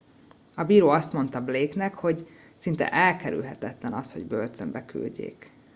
a bíró azt mondta blake nek hogy szinte elkerülhetetlen az hogy börtönbe küldjék